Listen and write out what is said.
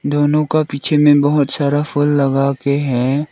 दोनों का पीछे में बहोत सारा फूल लगा के है।